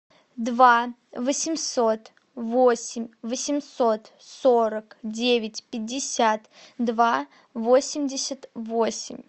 два восемьсот восемь восемьсот сорок девять пятьдесят два восемьдесят восемь